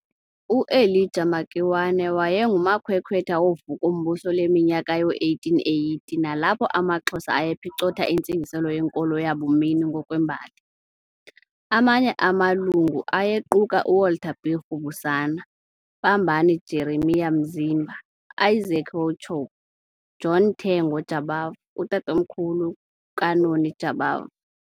UElijah Makiwane wayengumakhwekwhetha wovuko-mbuso leminyaka yoo-1880 nalapho amaXhosa ayephicotha intsingiselo yenkolo yabumini ngokwembali. Amanye amalungu ayequka uWalter B. Rubusana, Pambani Jeremiah Mzimba, Isaac Wauchope, John Tengo Jabavu, utatomkhulu kaNoni Jabavu.